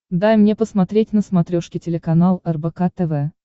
дай мне посмотреть на смотрешке телеканал рбк тв